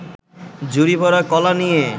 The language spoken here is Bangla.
ঝুড়ি-ভরা কলা নিয়ে